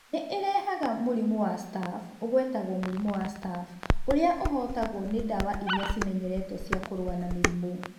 Nĩ ĩrehaga mũrimũ wa staph(ũgwetagwo mũrimũ wa staff) ũrĩa ũtahootagwo nĩ ndawa iria cĩmenyeretwo cia kũrũa na mĩrimũ.